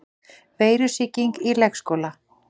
Veirusýking í leikskóla